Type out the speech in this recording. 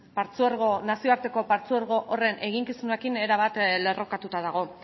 nazioarteko partzuergo horren eginkizunarekin erabat lerrokatuta dago